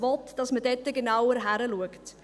Er will, dass man dort genauer hinschaut.